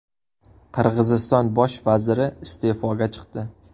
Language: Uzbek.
Qirg‘iziston bosh vaziri iste’foga chiqdi.